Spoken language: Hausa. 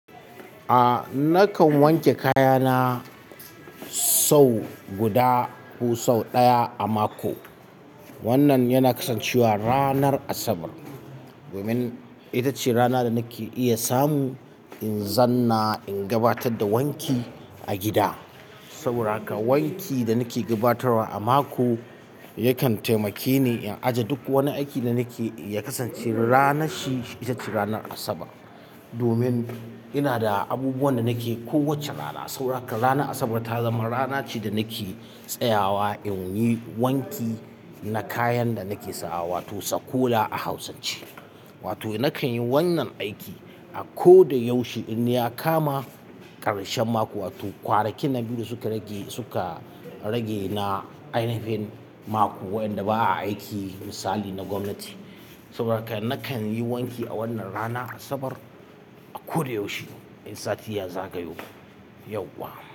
A nakan wanke kayana sau guda ko sau ɗaya a mako. Wannan yana kasancewa ranar Asabar, domin ita ce rana da nake iya samu in zanna in gabatar da wanki a gida. Saboda haka wanki da nake gabatarwa a mako yakan taimake ni in aje duk wani aiki da nake yi. Ya kasance ranar shi ita ce ranar Asabar. Domin ina da abubuwan da nake kowace rana. Saboda haka ranar Asabar ta zama rana ce da nake tsayawa in yi wanki na kayan da nake sawa wato sakola a Hausance. Wato nakan yi wannan aiki a ko da yaushe in ya kama ƙarshen mako. Wato kwanaki na biyu da suka rage suka rage na ainifin mako waɗanda ba a aiki misali na gwamnati. Saboda haka nakan yi wanki a wannan rana Asabar a ko da yaushe in sati ya zagayo. Yau wa.